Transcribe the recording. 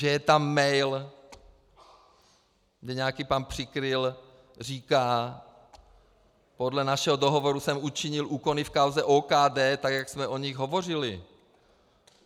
Že je tam mail, kde nějaký pan Přikryl říká: podle našeho dohovoru jsem učinil úkony v kauze OKD, tak jak jsme o nich hovořili.